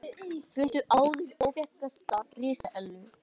Fundu áður óþekkta risaeðlu